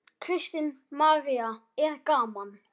Kristín María: Er gaman?